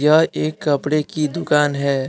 यह एक कपड़े की दुकान है।